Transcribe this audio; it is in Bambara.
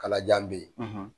Kalajan bɛ yen.